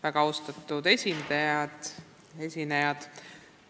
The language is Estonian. Väga austatud esinejad!